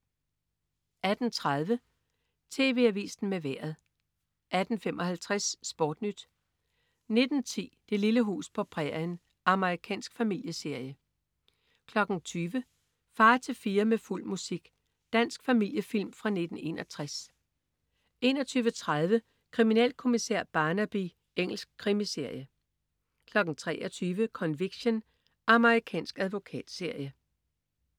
18.30 TV Avisen med Vejret 18.55 SportNyt 19.10 Det lille hus på prærien. Amerikansk familieserie 20.00 Far til fire med fuld musik. Dansk familiefilm fra 1961 21.30 Kriminalkommissær Barnaby. Engelsk krimiserie 23.00 Conviction. Amerikansk advokatserie